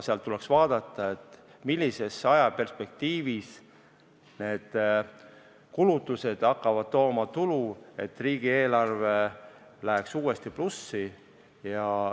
Seal tuleks vaadata, millises ajaperspektiivis need kulutused hakkavad tooma tulu, et riigieelarve läheks uuesti plussi.